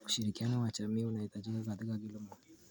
Ushirikiano wa jamii unahitajika katika kilimo.